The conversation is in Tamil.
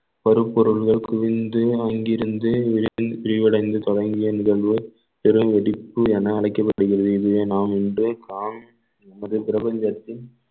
வரும் பொருள்கள் குவிந்து அங்கிருந்து விரி~ விரிவடைந்து தொடங்கிய நிகழ்வு பெரும் வெடிப்பு என அழைக்கப்படுகிறது எனவே நாம் இன்று காம்~ பிரபஞ்சத்தின்